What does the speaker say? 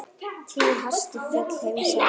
Tíu hæstu fjöll heims eru